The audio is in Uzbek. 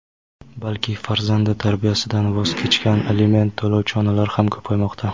balki farzandi tarbiyasidan voz kechgan aliment to‘lovchi onalar ham ko‘paymoqda.